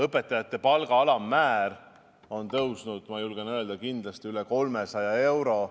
Õpetajate palga alammäär on tõusnud, ma julgen öelda, kindlasti üle 300 euro.